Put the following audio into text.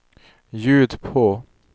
ljud på